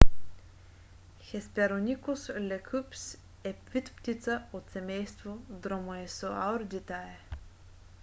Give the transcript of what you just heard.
hesperonychus leucops е вид птица от семейство dromaeosauridae